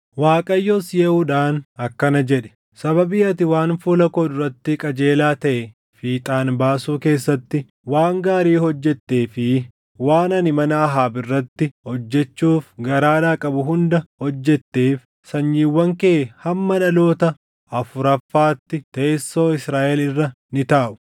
Waaqayyos Yehuudhaan akkana jedhe; “Sababii ati waan fuula koo duratti qajeelaa taʼe fiixaan baasuu keessatti waan gaarii hojjettee fi waan ani mana Ahaab irratti hojjechuuf garaadhaa qabu hunda hojjetteef sanyiiwwan kee hamma dhaloota afuraffaatti teessoo Israaʼel irra ni taaʼu.”